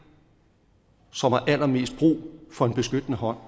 som har allermest brug for en beskyttende hånd